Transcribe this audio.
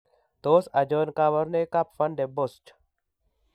Tos achon kabarunaik ab Van Den Bosch